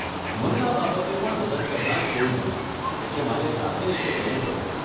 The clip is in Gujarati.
મને આ બાબતે પણ મદદ કરનાર કોઈ નહોતું, એટલે મારે જાતે જ તે કરવું પડ્યું.